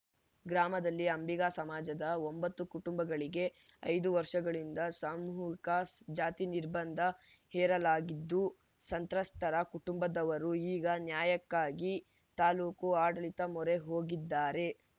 ಗ್ರಾಮದಲ್ಲಿ ಅಂಬಿಗ ಸಮಾಜದ ಒಂಬತ್ತು ಕುಟುಂಬಗಳಿಗೆ ಐದು ವರ್ಷಗಳಿಂದ ಸಾಮೂಹಿಕ ಜಾತಿ ನಿರ್ಬಂಧ ಹೇರಲಾಗಿದ್ದು ಸಂತ್ರಸ್ತರ ಕುಟುಂಬದವರು ಈಗ ನ್ಯಾಯಕ್ಕಾಗಿ ತಾಲೂಕು ಆಡಳಿತದ ಮೊರೆ ಹೋಗಿದ್ದಾರೆ